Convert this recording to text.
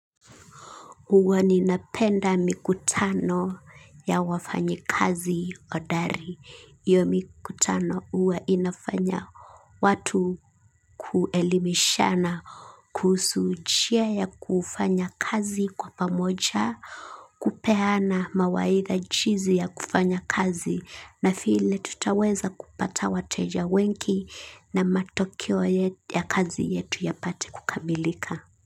Uwa ninapenda mikutano ya wafanyi kazi odari. Iyo mikutano uwa inafanya watu kuelimishana kuhusu chia ya kufanya kazi kwa pamoja, kupeana mawaitha jizi ya kufanya kazi na file tutaweza kupata wateja wenki na matokeo ya kazi yetu ya pate kukamilika.